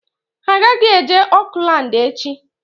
Ha agaghị eje Oakland echi!